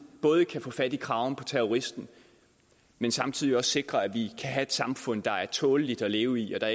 både kan få fat i kraven på terroristen men samtidig også sikrer at vi kan have et samfund der er tåleligt at leve i og